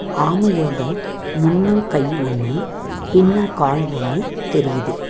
ஆமையோட முன்னங்கை ஒன்னு பின்னங் கால் ஒன்னு தெயுரிது.